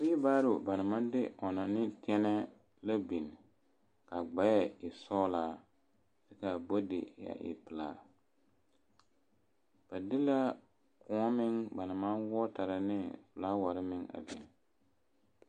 Weelebaaro ba naŋ maŋ de ɔnnɔ ne tɛnɛɛ la biŋ k'a gbɛɛ e sɔɔlaa k'a bodi a e pelaa, ba de la kõɔ meŋ ba naŋ maŋ wɔtara ne felaaware meŋ a biŋ.